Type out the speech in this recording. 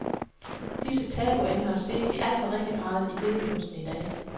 Disse tabu-emner ses i alt for ringe grad i billedkunsten i dag.